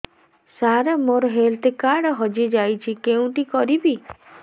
ସାର ମୋର health card ହଜି ଯାଇଛି କେଉଁଠି କରିବି